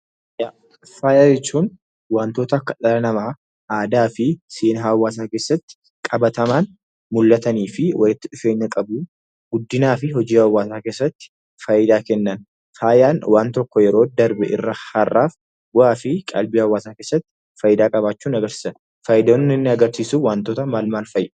Faaya jechuun wantoota akka dhala namaa aadaa fi seenaa keessatti qabatamaan mul'atanii fi walitti dhufeenya qabu. Guddinaa fi hojii hawwaasa keessatti faayidaa kennan. Faayaan waan tokko yeroo darbe irraa har'aaf bu'aa fi qalbii hawwaasaa keessatti faayidaa qabaachuu agarsiisan. Faayidaan inni agarsiisu maal fa'a?